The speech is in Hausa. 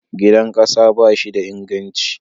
Gidan ƙasa ba shi da inganci.